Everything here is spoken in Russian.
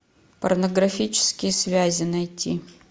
порнографические связи найти